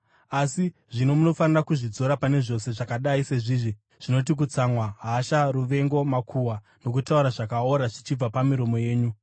Asi zvino munofanira kuzvidzora pane zvose zvakadai sezvizvi zvinoti: kutsamwa, hasha, ruvengo, makuhwa, nokutaura zvakaora zvichibva pamiromo yenyu.